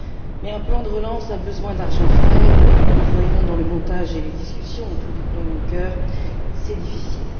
Mais un plan de relance a besoin d'argent frais et nous le voyons dans le montage et les discussions autour du plan Juncker c'est difficile.